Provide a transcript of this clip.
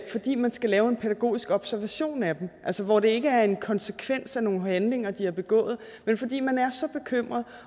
fordi man skal lave en pædagogisk observation af dem altså hvor det ikke er en konsekvens af nogle handlinger de har begået men fordi man er så bekymret